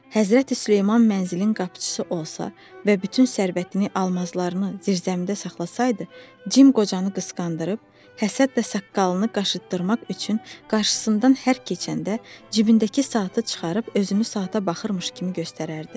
Həzrəti Süleyman mənzilin qapıçısı olsa və bütün sərvətini almazlarını zirzəmidə saxlasaydı, Cim qocanı qısqandırıb, həsəd də saqqalını qaşıtdırmaq üçün qarşısından hər keçəndə cibindəki saatı çıxarıb özünü saata baxırmış kimi göstərərdi.